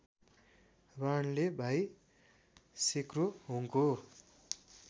बाणले भाइ सेक्रोहोङको